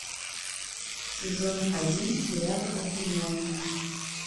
сезон один сериал обвиняемые